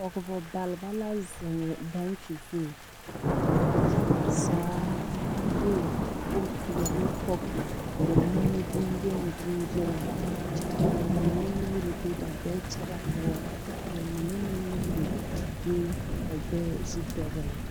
Pɔɡebɔ baleba la zeŋ baŋkyi zu ka ba yaɡa zaa de bompeɛle pɔɡe ba nimiboyeniyeni kyɛ ka ba mine nuuri be ba ɡbɛɛ kpakyaɡaŋ ka ba mine meŋ nuuri be ba ɡbɛɛ zu dɔɡele.